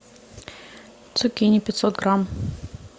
цукини пятьсот грамм